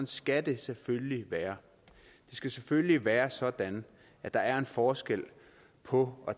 skal det selvfølgelig være det skal selvfølgelig være sådan at der er en forskel på